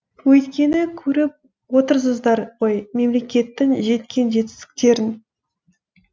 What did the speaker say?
өйткені көріп отырсыздар ғой мемлекеттің жеткен жетістіктерін